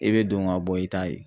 I bɛ don ka bɔ i ta ye.